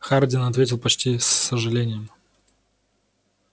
хардин ответил почти с сожалением